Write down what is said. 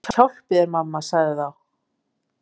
Guð hjálpi þér mamma, sagði þá